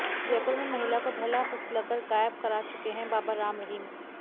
जयपुर में महिला को बहला फुसलकर गायब करा चुके हैं बाबा राम रहीम